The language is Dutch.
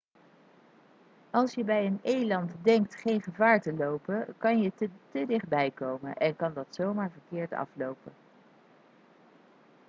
als je bij een eland denkt geen gevaar te lopen kan je te dichtbij komen en kan dat zomaar verkeerd aflopen